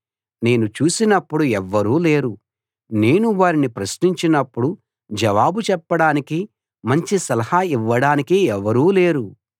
నేను చూసినప్పుడు ఎవ్వరూ లేరు నేను వారిని ప్రశ్నించినప్పుడు జవాబు చెప్పడానికి మంచి సలహా ఇవ్వడానికి ఎవరూ లేరు